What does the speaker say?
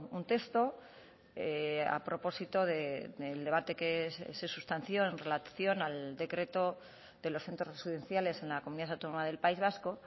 un texto a propósito del debate que se sustanció en relación al decreto de los centros residenciales en la comunidad autónoma del país vasco